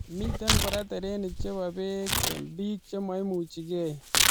Mitei kora terenik chebo bek eng bik chememuchikei.